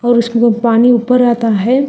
और उसमें में पानी ऊपर आता है।